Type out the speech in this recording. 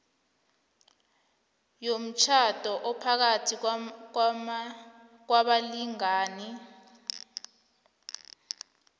yomtjhado ophakathi kwabalingani